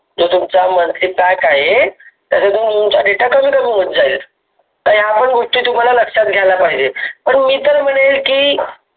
तुमचा monthly pack आहे तुमचा data कमी कमी होत जाईल ह्या पण गोष्टी, तुम्हाला लक्षात घ्यायला पाहिजे. पण मी पण म्हणेल की